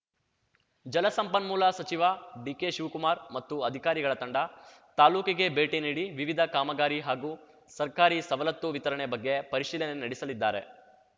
ಜಲಸಂಪನ್ಮೂಲ ಸಚಿವ ಡಿಕೆಶಿವ್ಕುಮಾರ್‌ ಮತ್ತು ಅಧಿಕಾರಿಗಳ ತಂಡ ತಾಲ್ಲೂಕಿಗೆ ಭೇಟಿ ನೀಡಿ ವಿವಿಧ ಕಾಮಗಾರಿ ಹಾಗೂ ಸರ್ಕಾರಿ ಸವಲತ್ತು ವಿತರಣೆ ಬಗ್ಗೆ ಪರಿಶೀಲನೆ ನಡೆಸಲಿದ್ದಾರೆ